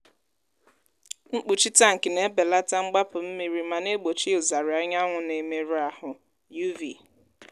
mkpuchi tankị na-ebelata mgbapụ mmiri ma na-egbochi ụzarị anyanwụ na-emerụ ahụ (uv).